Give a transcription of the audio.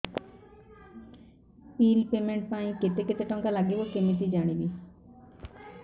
bill payment ପାଇଁ କେତେ କେତେ ଟଙ୍କା ଲାଗିବ କେମିତି ଜାଣିବି